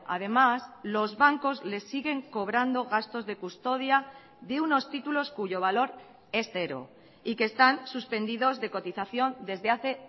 además los bancos les siguen cobrando gastos de custodia de unos títulos cuyo valor es cero y que están suspendidos de cotización desde hace